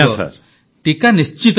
ପ୍ରଧାନମନ୍ତ୍ରୀ ଟିକା ନିଶ୍ଚିତ ନେବେ